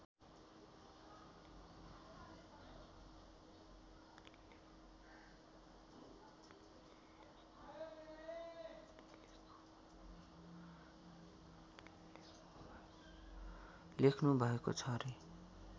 लेख्नु भएको छ रे